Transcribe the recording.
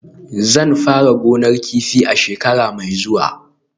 Zan fara gonar kifi a shekara mai zuwa